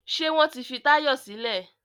Ṣé wọ́n ti fi Táyọ̀ sílẹ̀?